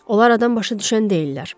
Onlar adam başa düşən deyillər.